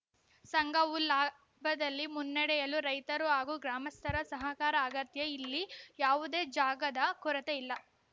ಸಂಘವು ಲಾಭದಲ್ಲಿ ಮುನ್ನಡೆಯಲು ರೈತರು ಹಾಗೂ ಗ್ರಾಮಸ್ಥರ ಸಹಕಾರ ಅಗತ್ಯ ಇಲ್ಲಿ ಯಾವುದೇ ಜಾಗದ ಕೊರತೆ ಇಲ್ಲ